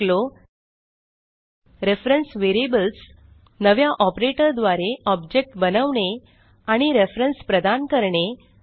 आपण शिकलो reference variables नव्या ऑपरेटर द्वारे ऑब्जेक्ट बनवणे आणि रेफरन्स प्रदान करणे